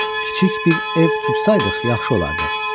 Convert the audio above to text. Kiçik bir ev tutsaydıq, yaxşı olardı.